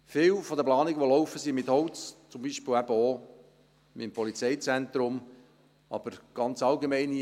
Viel der Planung, die läuft, ist mit Holz, zum Beispiel eben auch beim Polizeizentrum, aber einfach ganz allgemein: